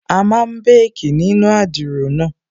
A máa békì nínu adiro náà